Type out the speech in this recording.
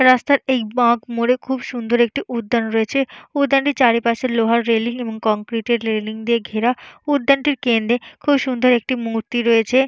রাস্তার এই বাঁক মোড়ে খুব সুন্দর একটি উদ্যান রয়েছে। উদ্যানটির চারিপাশে লোহার রেলিং এবং কংক্রিটের রেলিং দিয়ে ঘেরা। উদ্যানটির কেন্দ্রে খুব সুন্দর একটি মূর্তি রয়েছে।